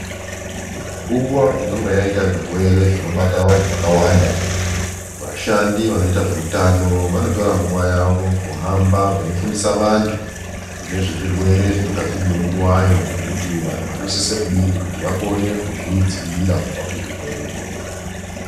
Nguva inonga yaiita zvirwere zvinobata vantu vakawanda vashandi vanoita zveutano vanotora nguva yavo kuhamba veifundisa vantu ngezvezvirwere zvinonga zviriyo nguvayo nekuti vanhu vanosise kudini kuti vakone kuzvidzivirira kubva kuzvirwere izvozvo.